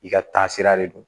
I ka taasira de don